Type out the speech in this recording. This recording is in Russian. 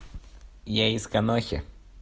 я из конохи